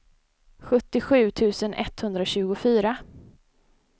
sjuttiosju tusen etthundratjugofyra